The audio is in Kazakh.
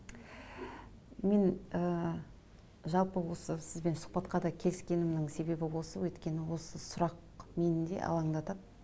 мен ыыы жалпы осы сізбен сұхбатқа да келіскенімнің себебі осы өйткені осы сұрақ мені де алаңдатады